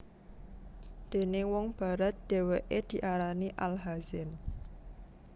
Déning wong Barat dheweke diarani Al Hazen